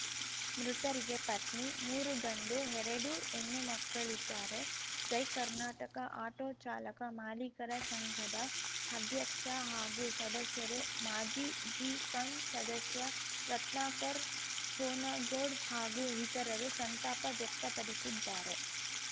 ಮೃತರಿಗೆ ಪತ್ನಿ ಮೂರು ಗಂಡು ಎರಡು ಹೆಣ್ಣುಮಕ್ಕಳಿದ್ದಾರೆ ಜೈ ಕರ್ನಾಟಕ ಆಟೋ ಚಾಲಕ ಮಾಲೀಕರ ಸಂಘದ ಅಧ್ಯಕ್ಷ ಹಾಗೂ ಸದಸ್ಯರು ಮಾಜಿ ಜಿಪಂ ಸದಸ್ಯ ರತ್ನಾಕರ್‌ ಹೋನಗೋಡ್‌ ಹಾಗೂ ಇತರರು ಸಂತಾಪ ವ್ಯಕ್ತಪಡಿಸಿದ್ದಾರೆ